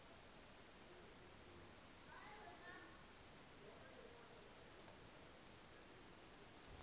e mengwe e na le